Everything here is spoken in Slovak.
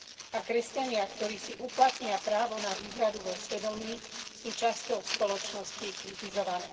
A kresťania, ktorí si uplatnia právo na výhradu vo svedomí, sú časťou spoločnosti kritizovaní.